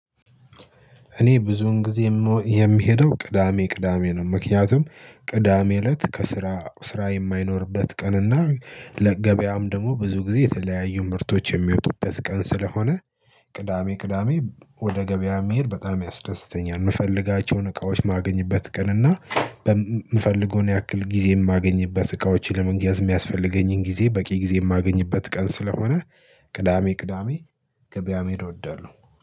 እኔ ብዙዉን ጊዜ የምሄደው ቅዳሜ ቅዳሜ ነው። ምክንያቱም ቅዳሜ እለት ከስራ ስራ የማይኖርበት ቀንና ለገበያም ደግሞ ብዙ ጊዜ የተለያዩ ምርቶች የሚወጡበት ቀን ስለሆነ ቅዳሜ ቅዳሜ ወደ ገበያ መሄድ በጣም ያስደስተኛል። የምፈልጋቸውን እቃዎች የማገኝበት ቀን እና በምፈልገው ያክል ጊዜ የማገኝበት እቃዎችን ለመግዛት የሚያስፈልገኝን ጊዜ በቂ ጊዜ የማገኝበት ቀን ስለሆነ ቅዳሜ ቅዳሜ ገበያ መሄድ እወዳለሁ